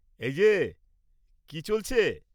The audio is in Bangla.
এই যে, কি চলছে?